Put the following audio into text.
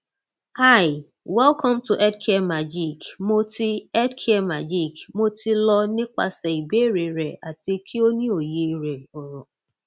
hi welcome to healthcaremagic mo ti healthcare magic mo ti lọ nipasẹ ibeere rẹ ati ki o ni oye rẹ oro